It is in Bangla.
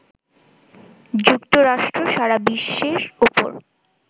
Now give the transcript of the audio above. যুক্তরাষ্ট্র সারা বিশ্বের ওপর